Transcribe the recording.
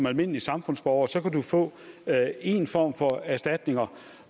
almindelig samfundsborger så kan få en form for erstatning